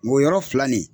Ngɔyɔ filɛ nin ye